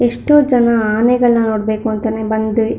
ಎಷ್ಟೋ ಜನ ಆನೆಗಳ್ ನ ನೋಡ್ ಬೇಕು ಅಂತಾನೆ ಬಂದಿ --